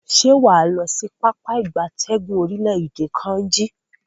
Se waa lo si Pápá ìgbatẹ́gùn orile-ede Kainji?